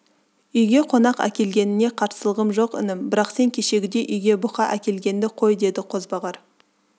үйге қонақ әкелгеніңе қарсылығым жоқ інім бірақ сен кешегідей үйге бұка әкелгенді қой деді қозбағар